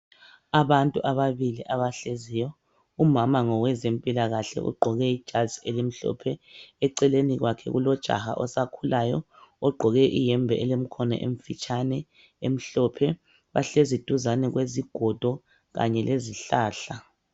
Abantu ababili abahleziyo umama ngowezempilakahle ugqoke ijazi elimhlophe eceleni kwakhe kulojaha osakhulayo ogqoke ihembe elemkhono emfitshane emhlophe bahlezi duzane kwezigodo kanye lezihlahla.